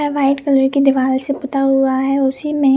यहाँ white colour की दिवार से बना हुआ हैउसी में --